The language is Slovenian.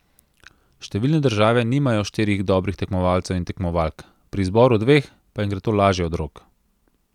Številne države nimajo štirih dobrih tekmovalcev in tekmovalk, pri izboru dveh pa jim gre to lažje od rok.